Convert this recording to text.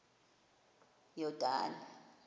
yordane